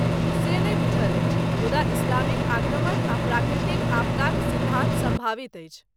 से नहि बुझल अछि, मुदा इस्लामिक आक्रमण आ प्राकृतिक आपदाक सिद्धान्त सम्भावित अछि।